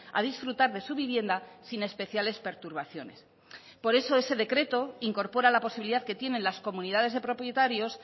a disfrutar de su vivienda sin especiales perturbaciones por eso ese decreto incorpora la posibilidad que tienen las comunidades de propietarios